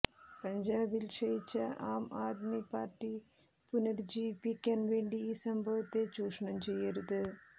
പഞ്ചാബിൽ ക്ഷയിച്ച ആംആദ്മി പാർട്ടി പുനരുജ്ജീവിപ്പിക്കാൻ വേണ്ടി ഈ സംഭവത്തെ ചൂഷണം ചെയ്യരുത്